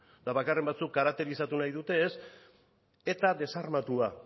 eta bakarren batzuk karakterizatu nahi dute eta desarmatua